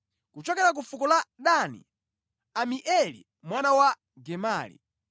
kuchokera ku fuko la Dani, Amieli mwana wa Gemali;